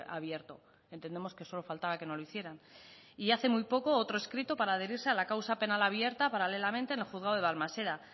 abierto entendemos que solo faltaba que no lo hicieran y hace muy poco otro escrito para adherirse a la causa penal abierta paralelamente en el juzgado de balmaseda